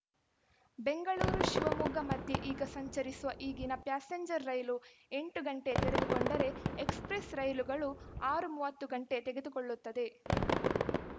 ಬೆಂಗಳೂರು ಶಿವಮೊಗ್ಗ ಮಧ್ಯೆ ಈಗ ಸಂಚರಿಸುವ ಈಗಿನ ಪ್ಯಾಸೆಂಜರ್‌ ರೈಲು ಎಂಟು ಗಂಟೆ ತೆಗೆದುಕೊಂಡರೆ ಎಕ್ಸಪ್ರೆಸ್‌ ರೈಲುಗಳು ಆರು ಮೂವತ್ತು ಗಂಟೆ ತೆಗೆದುಕೊಳ್ಳುತ್ತದೆ